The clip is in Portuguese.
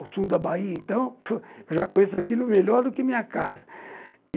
O sul da Bahia, então, eu já conheço aquilo melhor do que minha casa.